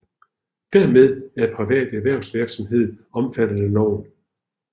Dermed er privat erhvervsvirksomhed omfattet af loven